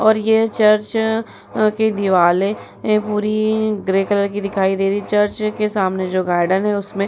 और ये चर्च की दीवाल है। ये पूरी ग्रे कलर की दिखाई दे रही है। चर्च के सामने जो गार्डन है उसमें --